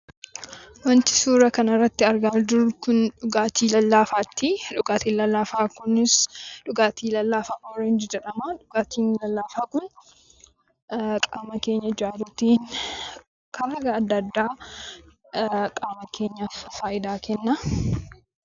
Wanti suura kana irratti argaa jirru dhugaatii lallaafaati. Dhugaatiin lallaafaa kunis dhuugaatii lallaafaa "oorenjii" jedhama. Dhugaatiin lallaafaa kun qaama keenya ijaaruutin karea adda adda qaama keenyaaf faayidaa kenna.